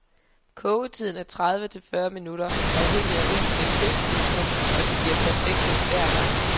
Kogetiden er tredive til fyrre minutter, afhængig af risenes høsttidspunkt, og de bliver perfekte hver gang.